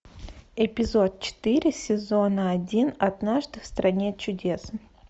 эпизод четыре сезона один однажды в стране чудес